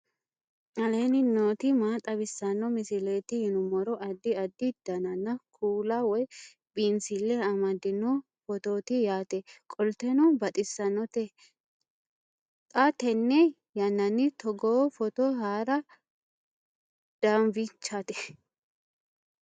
aleenni nooti maa xawisanno misileeti yinummoro addi addi dananna kuula woy biinsille amaddino footooti yaate qoltenno baxissannote xa tenne yannanni togoo footo haara danvchate